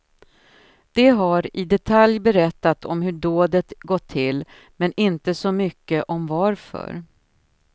De har i detalj berättat om hur dådet gått till, men inte så mycket om varför.